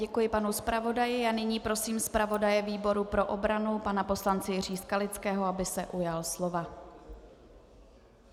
Děkuji panu zpravodaji a nyní prosím zpravodaje výboru pro obranu pana poslance Jiřího Skalického, aby se ujal slova.